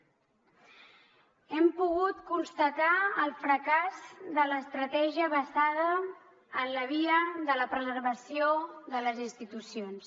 hem pogut constatar el fracàs de l’estratègia basada en la via de la preservació de les institucions